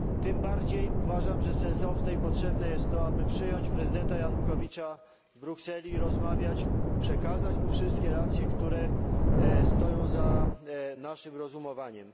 Tym bardziej uważam, że sensowne i potrzebne jest to, aby przyjąć prezydenta Janukowycza w Brukseli i rozmawiać, przekazać mu wszystkie racje, które stoją za naszym rozumowaniem.